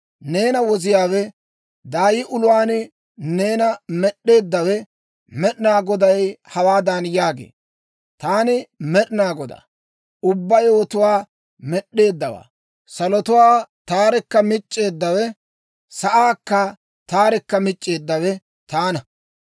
Neena Woziyaawe, daay uluwaan neena med'eeddawe Med'inaa Goday hawaadan yaagee; «Taani Med'inaa Godaa, ubbaa yewotuwaa Med'd'eeddawaa; salotuwaa taarekka mic'c'eeddawe; sa'aakka taarekka mic'c'eeddawe taana.